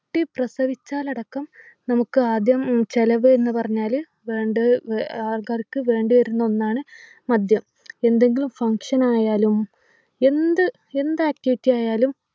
ട്ടി പ്രസവിച്ചാലടക്കം നമുക്ക് ആദ്യം ഉം ചെലവ് എന്ന് പറഞ്ഞാല് വേണ്ടത് ആഹ് ആൾക്കാർക്ക് വേണ്ടി വരുന്ന ഒന്നാണ് മദ്യം എന്തെങ്കിലും function ആയാലും എന്ത് എന്ത activity ആയാലും